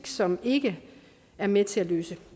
som ikke er med til at løse